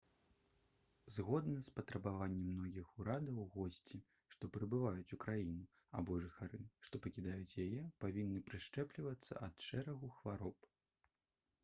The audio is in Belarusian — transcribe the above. згодна з патрабаваннем многіх урадаў госці што прыбываюць у краіну або жыхары што пакідаюць яе павінны прышчэплівацца ад шэрагу хвароб